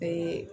Bɛɛ